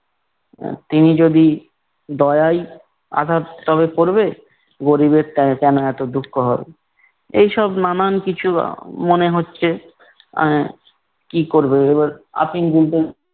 আহ তিনি যদি দয়াই আঘাত তবে করবে? গরীবের তা কেনো এতো দুঃখ হবে? এইসব নানান কিছু আহ মনে হচ্ছে, আহ কী করবে? এবার আফিম